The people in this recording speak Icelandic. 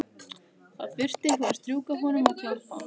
Það þurfti einhver að strjúka honum og klappa.